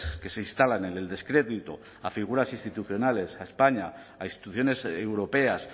que se instalan en el descrédito a figuras institucionales a españa a instituciones europeas